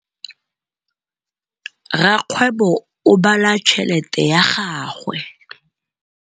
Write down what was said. Rakgwêbô o bala tšheletê ya gagwe.